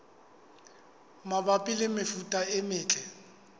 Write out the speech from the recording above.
mabapi le mefuta e metle